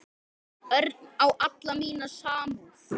Örn á alla mína samúð.